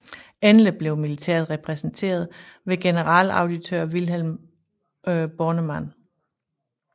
Endelig blev militæret repræsenteret ved generalauditør Vilhelm Bornemann